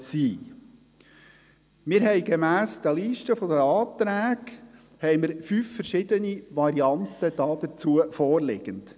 Wir haben diesbezüglich gemäss der Liste der Anträge fünf verschiedene Varianten vorliegend.